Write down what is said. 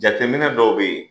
Jateminɛ dɔw bɛ yen